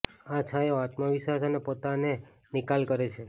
આ છાંયો આત્મવિશ્વાસ અને પોતાને નિકાલ કરે છે